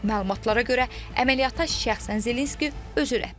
Məlumatlara görə, əməliyyata şəxsən Zelenski özü rəhbərlik edib.